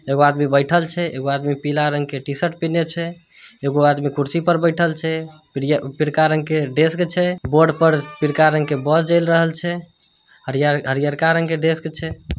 एगो आदमी बैठल छै एगो आदमी पीला रंग के टीशर्ट पिहिन्ले छै एगो आदमी कुर्सी पर बैठल छै पीर पीरका रंग के ड्रेस छै बोर्ड पर पीरका रंग के बोल जेल रहल छै हरी हरीअरका रंग के ड्रेस छै।